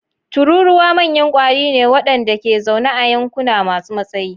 Tururuwa manyan ƙwari ne waɗanda ke zaune a yankuna masu matsayi.